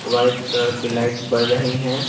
White colour की light पड़ रही हैं।